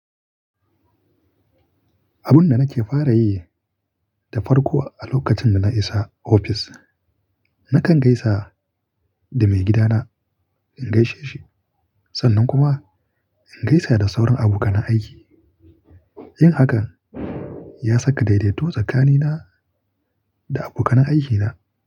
Abun da nake fara yi da farko a lokacin da na isa ofis, nakan gaisa da maigidana, in gaishe shi. Sannan kuma in gaisa da sauran abokan na aiki. Yin hakan ya saka daidaito tsakanina da abokan aiki na.